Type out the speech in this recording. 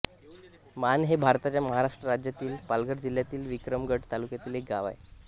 माण हे भारताच्या महाराष्ट्र राज्यातील पालघर जिल्ह्यातील विक्रमगड तालुक्यातील एक गाव आहे